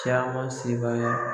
Caman se b'an ye